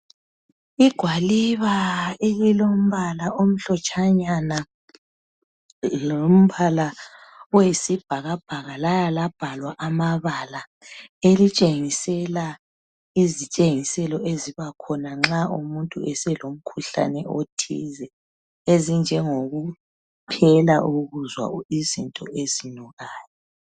Igwaliba elilombala omhlotshanyana lombala oyisibhakabhaka laya labhalwa amabala, elitshengisela izitshengiselo ezibakhona nxa umuntu eselomkhuhlane othize ezinjengokuphela ukuzwa izinto ezinukayo.